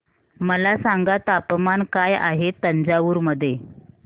मला सांगा तापमान काय आहे तंजावूर मध्ये